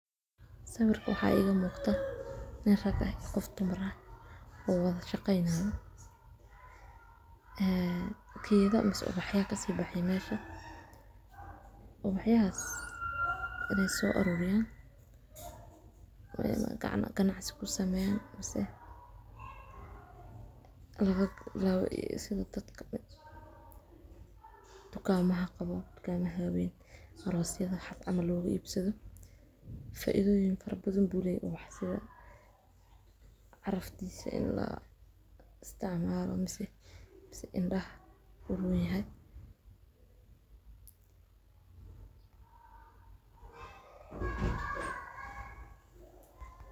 Sawirka waxaa igamuqda nin rag ah iyo qof dumar ah oo wada shaqeynaya ee gedha mise ubaxya kasii baxe mesha ubaxyahas in ey soo aruuriyan ganacsi kusameyaan mise laga bilaabo sidha dadka dukaamaha qabo dukaamaha weyn aroosyadha hag ama loogaibsadho. Faaidhooyin badan ayuu leeyahy ubah sidha caraftiisa in laisticmaalayo mise indaha uronyahy.